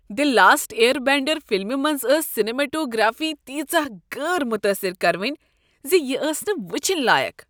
دی Last Airbender فلمہ منٛز ٲس سینماٹوگرافی تیژاہ غٲر متٲثر کرونۍ زِ یہ ٲس نہٕ وٕچھِنۍ لایق۔